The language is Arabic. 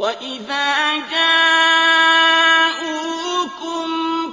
وَإِذَا جَاءُوكُمْ